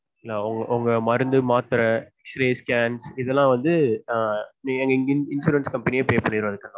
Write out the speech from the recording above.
உங்க மருந்து மாத்திரை x ray scan இதெல்லாம் வந்து ஆஹ் insurance company pay பண்ணிடுவாங்க